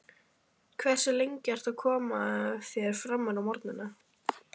Hversu lengi ertu að koma þér framúr á morgnanna?